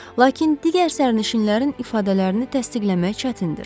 Lakin digər sərnişinlərin ifadələrini təsdiqləmək çətindir.